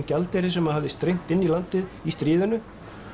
gjaldeyri sem hafði streymt inn í landið í stríðinu